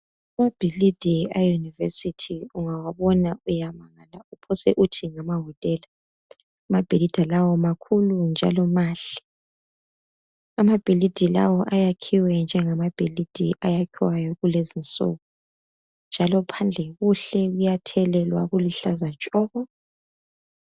Amaphilisi awe university ungawabona uyamangama uphose uthi ngamawotela amabhilidi lawa makhulu njalo mahle amabhilidi lawa ayakhiwe njengamabhilidi ayakhiwayo kulezinsuku njalo phandle kuhle kuyathelelwa kuluhlaza tshoko